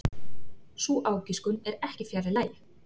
Sú ágiskun er ekki fjarri lagi.